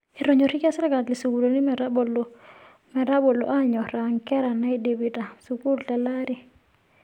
Etonyorikia serkali sukuulini metabolo aanyoraa nkera naidipita sukuul telaari.